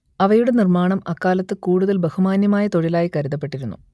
അവയുടെ നിർമ്മാണം അക്കാലത്ത് കൂടുതൽ ബഹുമാന്യമായ തൊഴിലായി കരുതപ്പെട്ടിരുന്നു